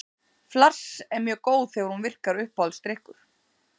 Flass er mjög góð þegar hún virkar Uppáhaldsdrykkur?